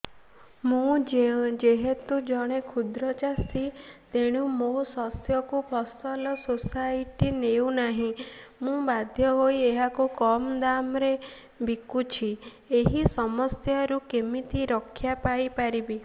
ମୁଁ ଯେହେତୁ ଜଣେ କ୍ଷୁଦ୍ର ଚାଷୀ ତେଣୁ ମୋ ଶସ୍ୟକୁ ଫସଲ ସୋସାଇଟି ନେଉ ନାହିଁ ମୁ ବାଧ୍ୟ ହୋଇ ଏହାକୁ କମ୍ ଦାମ୍ ରେ ବିକୁଛି ଏହି ସମସ୍ୟାରୁ କେମିତି ରକ୍ଷାପାଇ ପାରିବି